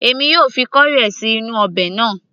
èmi yóò fi corrie sí inú ọbẹ̀ náà